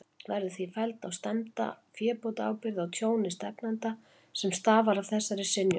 Verður því felld á stefnda fébótaábyrgð á tjóni stefnanda, sem stafar af þessari synjun.